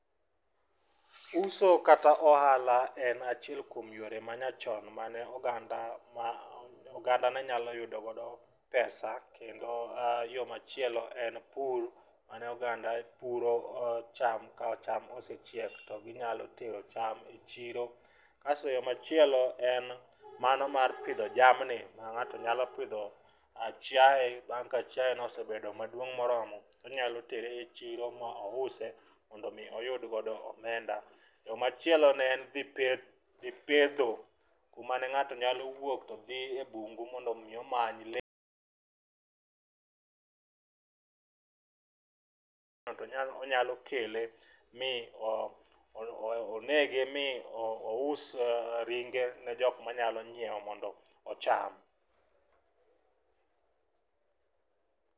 Uso kata ohala en achiel kuom yore ma nyachon mane oganda ma oganda ne nyalo yudo go pesa. Kendo yo machielo en pur mane oganda puro cham ka cham osechiek to ginyalo tero cham e chiro. Kaso yo machielo en mano mar pidho jamni, ma ng'ato nyalo pidho chiaye. Bang' ka chiaye no osebedo maduong' moromo, onyalo tere e chiro ma ouse mondo mi oyud godo omenda. To machielo en dhi peth dhi petho, ku mane ng'ato nya wuok to dhi e bungu mondo mi omany le. Ng'ato nya onyalo kele mi onege mi ous ringe ne jok manyalo ng'iewo mondo ocham.